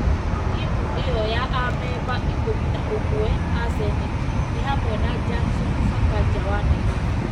Timu ĩyo ya amemba ikũmi na ũmwe a seneti nĩ hamwe na Johnson Sakaja wa Nairobi,